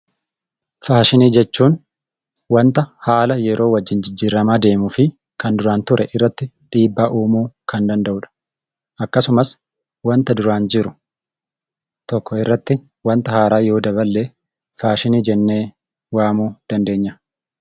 Faashinii jechuun waanta haala yeroo wajjin jijjiiramaa deemuu fi kan duraan ture irratti dhiibbaa uumuu kan danda'udha. Akkasumsas waanta duraan jiru tokko irratti wanta haaraa yoo daballee faashinii jennee waamuu dandeenya.